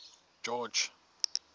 george